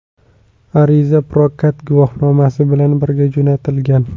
Ariza prokat guvohnomasi bilan birga jo‘natilgan.